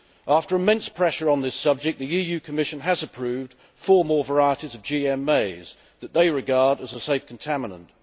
After immense pressure on this subject, the EU Commission has approved four more varieties of GM maize that they regard as a safe contaminant.